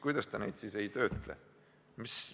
Kuidas ta neid siis ei töötle?